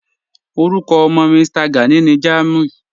Orúkọ ọ̀mọ́ Mí̀stà Gánì ní Jámúì